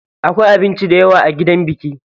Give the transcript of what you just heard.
Akwai abinci dayawa a gidan biki.